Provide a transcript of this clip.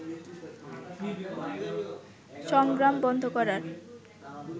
সংগ্রাম বন্ধ করার